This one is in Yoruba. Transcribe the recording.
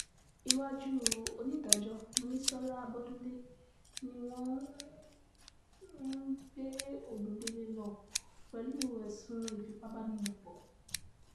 iwájú onídàájọ́ monísọlá abọ́dúndẹ ni wọ́n gbé ogundélé lọ pẹ̀lú ẹ̀sùn ìfipábánilòpọ̀